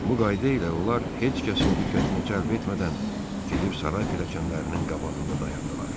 Bu qayda ilə onlar heç kəsin diqqətini cəlb etmədən gedib saray pilləkənlərinin qabağında dayandılar.